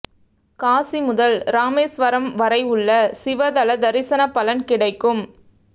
காசி முதல் இராமேஸ்வரம் வரை உள்ள சிவ தல தரிசனப் பலன் கிடைக்கும்